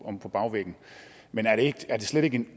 omme på bagvæggen men er det slet ikke en